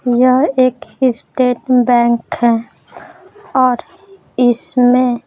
यह एक state bank है और इसमें--